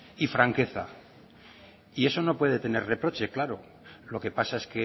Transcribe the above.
y franqueza y eso no puede tener reproche claro lo que pasa es